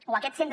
o aquest centre